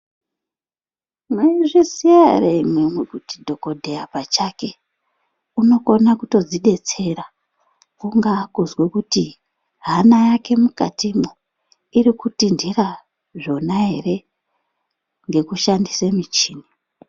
Maizviziya ere imwimwi kuti dhokodheya pachake ,unokona kutodzidetsera ,kungaa kuzwe kuti, hana yake mukatimwo, iri kutinthira zvona ere, ngekushandise michini?